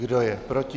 Kdo je proti?